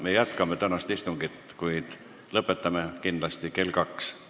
Me jätkame tänast istungit, kuid lõpetame kindlasti kell kaks.